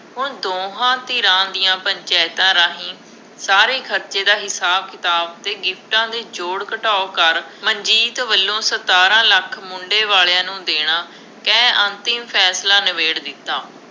ਹੁਣ ਦੋਹਾਂ ਧਿਰਾਂ ਦੀਆਂ ਪੰਚਾਇਤਾਂ ਰਾਹੀਂ ਸਾਰੇ ਖਰਚੇ ਦਾ ਹਿਸਾਬ-ਕਿਤਾਬ ਅਤੇ ਗਿਫਟਾਂ ਦੇ ਜੋੜ-ਘਟਾਓ ਕਰ, ਮਨਜੀਤ ਵੱਲੋਂ ਸਤਾਰਾਂ ਲੱਖ ਮੁੰਡੇ ਵਾਲਿਆ ਨੂੰ ਦੇਣਾ, ਕਹਿ ਅੰਤਿਮ ਫੈਸਲਾ ਨਿਬੇੜ ਦਿੱਤਾ।